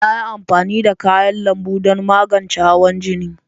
Na yi amfani da kayan lambu don magance hawan jini.